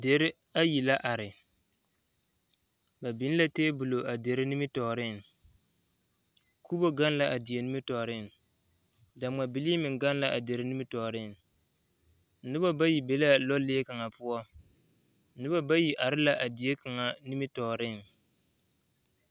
Dere ayi la are ba biŋ la tebol a dere nimitɔɔreŋ kubo gaŋ la a die nimitɔɔreŋ daŋma bilii meŋ gaŋ la a dere nimitɔɔreŋ noba bayi be la a lɔlee kaŋa poɔ noba bayi are la a die kaŋa nimitɔɔreŋ.